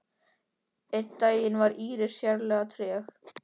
Einn daginn var Íris sérlega treg.